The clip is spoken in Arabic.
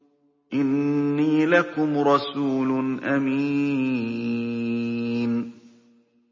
إِنِّي لَكُمْ رَسُولٌ أَمِينٌ